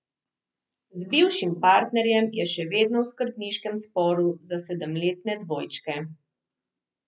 Z bivšim partnerjem je še vedno v skrbniškem sporu za sedemletne dvojčke.